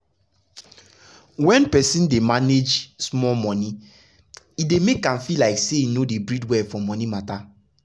when person dey manage small monie e dey make am feel like say im no dey breathe well for monie matter.